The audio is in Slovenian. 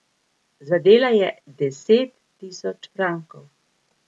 Zadela je deset tisoč frankov.